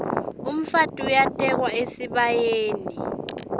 umfati uyatekwa esibayeni